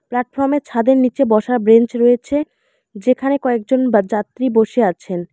প্ল্যাটফর্মে ছাদের নীচে বসার ব্রেঞ্চ রয়েছে যেখানে কয়েকজন বা যাত্রী বসে আছেন।